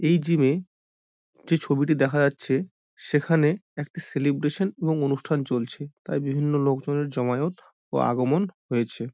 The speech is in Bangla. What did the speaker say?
এই জিম - এ ।যে ছবিতে দেখা যাচ্ছে সেখানে একটি সেলেব্রেশন এবং ।অনুষ্ঠান চলছে তাই বিভিন্ন লোকজনের জমায়েত